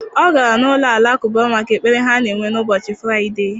Ọ gara n'ụlọ Alakụba maka ekpere ha na-enwe n'ụbọchị Fraịde.